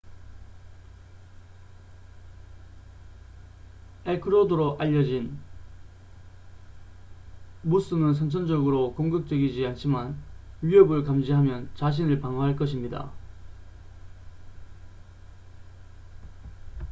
엘크로도 알려진 무스는 선천적으로 공격적이지 않지만 위협을 감지하면 자신을 방어할 것입니다